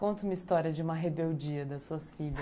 Conta uma história de uma rebeldia das suas filhas.